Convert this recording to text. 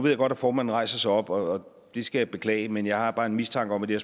jeg godt at formanden rejser sig op og det skal jeg beklage men jeg har bare en mistanke om at det